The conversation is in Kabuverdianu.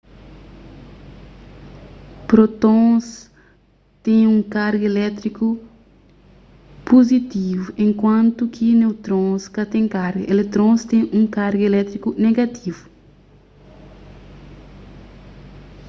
prótons ten un karga elétriku puzitivu enkuantu ki neutrons ka ten karga eletrons ten un karga elétriku negativu